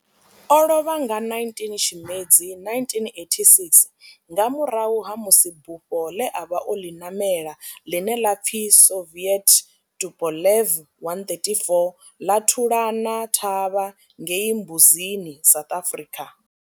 O lovha nga 19 Tshimedzi 1986 nga murahu ha musi bufho ḽe a vha o ḽi ṋamela, ḽine ḽa pfi Soviet Tupolev 134 ḽa thulana thavha ngei Mbuzini, South Africa.